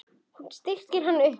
Það styttir kannski upp.